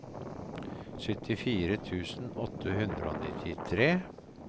syttifire tusen åtte hundre og nittitre